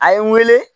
A ye n wele